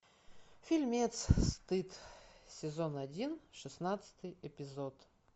фильмец стыд сезон один шестнадцатый эпизод